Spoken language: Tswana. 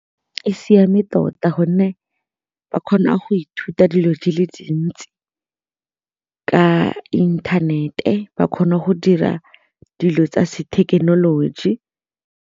E siame tota gonne ba kgona go ithuta dilo di le dintsi ka inthanete, ba kgona go dira dilo tsa thekenoloji.